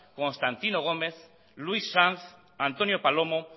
constantino gómez luis sanz antonio palomo